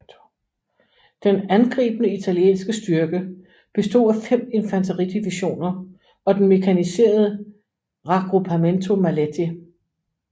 Den angribende italienske styrke bestod af fem infanteridivisioner og den mekaniserede Raggruppamento Maletti